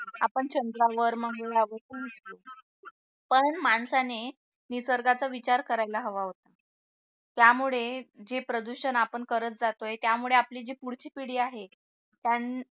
आपण चंद्रावर मंगळावर पोचलो पण माणसाने निसर्गाचा विचार करायला हवा होता त्यामुळे जे प्रदूषण आपण करत जातोय त्यामुळे आपली जी पुढची पिढी आहे त्यांना